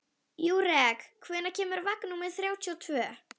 Júrek, hvenær kemur vagn númer þrjátíu og tvö?